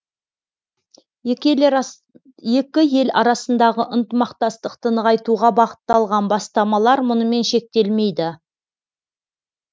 екі ел арасындағы ынтымақтастықты нығайтуға бағытталған бастамалар мұнымен шектелмейді